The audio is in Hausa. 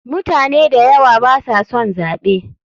Mutane dayawa baso son zaɓe.